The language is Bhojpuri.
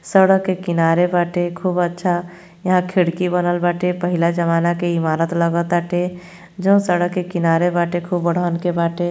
सड़क के किनारे बाटे। खूब अच्छा यहाँ खिड़की बनल बाटे पहिला जमाना के इमारत लागताटे जौन सड़क के किनारे बाटे खूब बढ़हन के बाटे।